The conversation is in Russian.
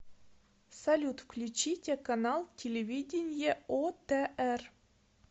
салют включите канал телевидения отр